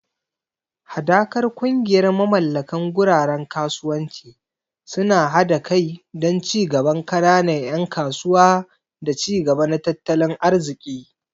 Hadakar kungiyar mamallakan guraren kasuwanci suna hada kai don ci gaban kananan yan kasuwa da ci gaba na tattalin arziki.